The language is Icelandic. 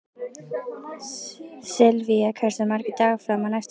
Silvía, hversu margir dagar fram að næsta fríi?